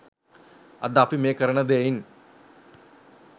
අද අපි මේ කරන දෙයින්